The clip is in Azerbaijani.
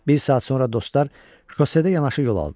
Bir saat sonra dostlar şosedə yanaşı yol aldılar.